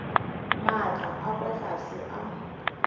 maatla a kwa tlase a